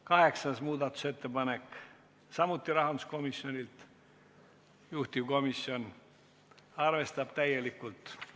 Kaheksas muudatusettepanek – taas rahanduskomisjonilt, juhtivkomisjon on arvestanud täielikult.